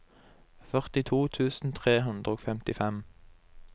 førtito tusen tre hundre og femtifem